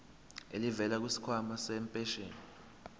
elivela kwisikhwama sempesheni